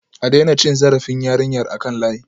A daina cin zarafin yarinyar a kan layi